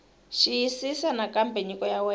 xiyisisisa nakambe nyiko ya wena